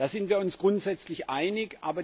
Da sind wir uns grundsätzlich einig.